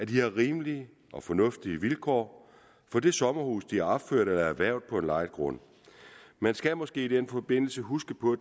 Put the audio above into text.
de har rimelige og fornuftige vilkår for det sommerhus de har opført eller har erhvervet på en lejet grund man skal måske i den forbindelse huske på